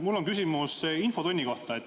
Mul on küsimus infotunni kohta.